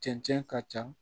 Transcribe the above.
Cɛncɛn ka ca